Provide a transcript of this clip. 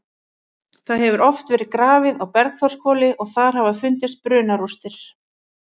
Það hefur oft verið grafið á Bergþórshvoli og þar hafa fundist brunarústir.